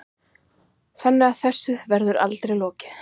Þannig að þessu verður aldrei lokað